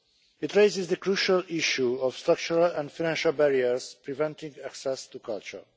It raises the crucial issue of structural and financial barriers preventing access to culture.